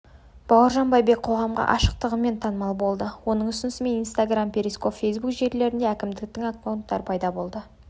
бауыржан байбек қоғамға ашықтығымен танымал болды оның ұсынысымен инстаграм перископ фейсбук желілерінде әкімдіктің аккаунттары пайда болды